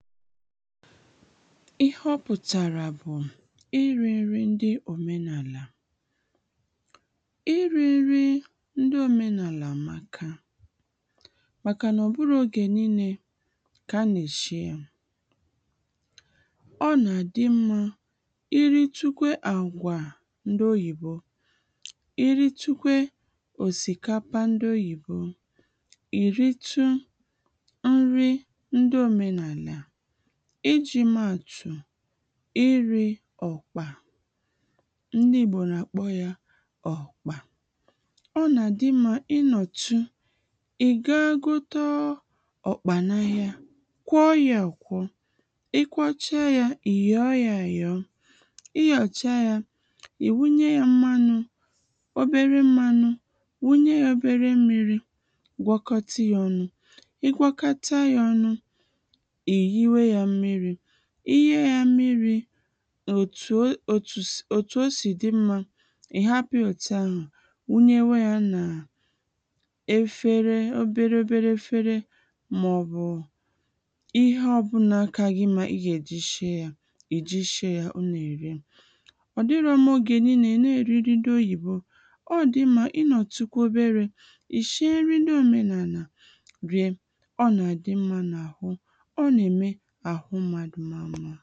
ịhe ọ pùtàrà bụ̀ ịrị̀ ǹri ndị òmenàla ịrị̀ ǹrị ndị òmenàla àmaka màkà nà ọ bụrọ oge nille kà a nà-èshi nri ọ nà-adị mmā iri tukwe àgwà ndị Oyibo ìri tukwe òsìkapa ndị Oyibo ìritu nri ndị òmenàlà ịjịị mee àtù ịrị̀̄ ọ̀kpà ndị ìgbo nà-àkpọ ya ọ̀kpà ọ nà-àdị mma ịnọ̀tụ ị̀ gaa ghote ọ̀kpà n’ahịa kwọ ya àkwọ ịkwọcha ya I yọọ ya áyọọ ị yọ̀chaa ya ì wunye ya mmanū obere mmanū wunye ya obere mmīri gwọkọtị ya ọnụ ị gwọkọta ya ọnụ ì yuwe ya mmīri í yuwe ya mmīri òtù o òtù s òtù o sì dị mma ị̀ hapu ya òtù ahù rụnyewe ya nà efere obere obere efere mà ọ bù ịhe ọ bụna ka gi mma ịgà èji shịe ya ịgà èji shịe ya ọ nà ère ọ dị̀rọ mma oge nille ị nà-eri nrị ndị Oyibo ọ dị mma ị nọtụ kwa obere ị shịe nri ndị òmenala rie ọ nà à dị mma nà aru ọ nà-eme àhụ mmadu maa mmā